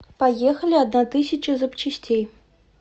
поехали одна тысяча запчастей